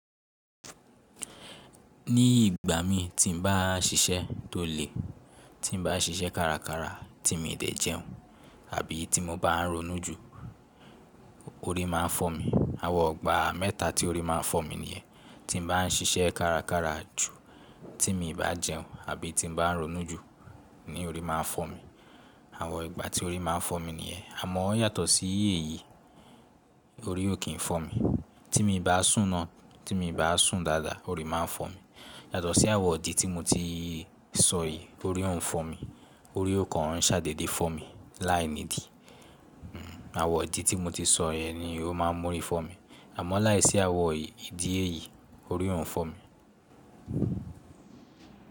Ní ìgbà mi tí n bá ṣiṣẹ́ tó le, tí n bá ṣiṣẹ́ kárakára tí mi dẹ̀ jẹun àbí tí mo bá ń ronú jù, orí máa ń fọ́ mi. Àwọn igbà mẹ́ta tí orí máa ń fọ́ mi nìyẹn. Tí n bá ń ṣiṣẹ́ kárakára jù, tí mi bá jẹun àbí tí n bá ń ronú jù ni orí máa ń fọ́ mi. Àwọn ìgbà tí orí máa ń fọ́ mi nìyẹn. Àmọ́ ó yàtọ̀ sí iye yìí, orí ò kí ń fọ́ mi. Tí mi bá sùn ná, tí mi bá sùn dáadáa orí máa ń fọ́ mi. Yàtọ̀ sí àwọ̀ idi tí mo ti sọ yìí orí ò ń fọ́ mi, orí ò kan ń ṣàdédé fọ́ mi láì nídìí. Àwọ̀n idi tí mo ti sọ yẹn ni ó máa ń mú orí fọ́ mi. Àmọ́ láìsí àwọ̀n ìdí èyí orí ò ń fọ́ mi.